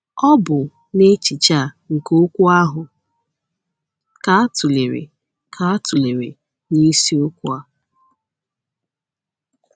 Ọ bụ n’echiche a nke okwu ahụ ka a tụlere ka a tụlere n’isiokwu a.